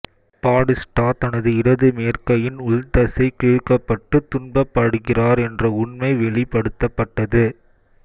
Batista தனது இடது மேற்கையின் உள் தசை கிழிக்கப்பட்டு துன்பப்படுகிறார் என்ற உண்மை வெளிப்படுத்தப்பட்டது